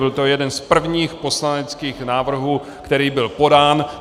Byl to jeden z prvních poslaneckých návrhů, který byl podán.